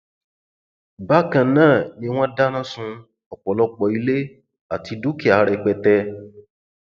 bákan náà ni wọn dáná sun ọpọlọpọ ilé àti dúkìá rẹpẹtẹ